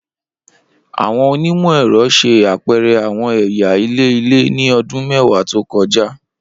Awọn onimọ-ẹrọ ṣe apẹrẹ awọn ẹya ilẹ-ilẹ ni ọdun mẹwa to kọja.